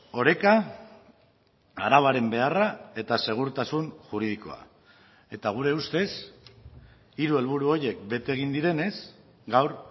oreka arauaren beharra eta segurtasun juridikoa eta gure ustez hiru helburu horiek bete egin direnez gaur